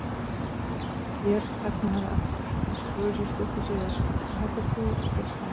Hér þagnaði hann aftur, en spurði svo stuttu síðar: Hvað heldur þú að gerist næst?